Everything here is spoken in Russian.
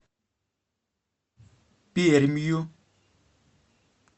пермью